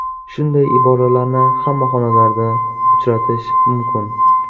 Shunday iboralarni hamma xonalarda uchratish mumkin.